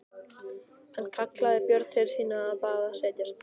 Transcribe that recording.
Hann kallaði Björn til sín og bað hann setjast.